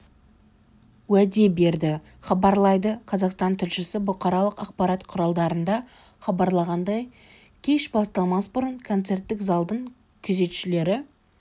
уәде берді хабарлайды қазақстан тілшісі бұқаралық ақпарат құралдарында хабарланғандай кеш басталмас бұрын концерттік залдың күзетшілері